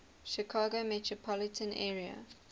chicago metropolitan area